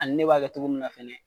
Ani ne b'a kɛ cogo mun na fana.